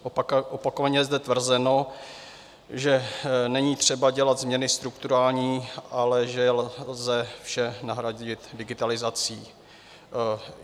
Opakovaně je zde tvrzeno, že není třeba dělat změny strukturální, ale že lze vše nahradit digitalizací.